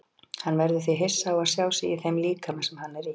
Hann verður því hissa á að sjá sig í þeim líkama sem hann er í.